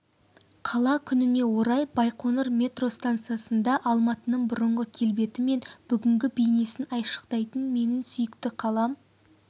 қала күніне орай байқоңыр метро стансасында алматының бұрынғы келбеті мен бүгінгі бейнесін айшықтайтын менің сүйікті қалам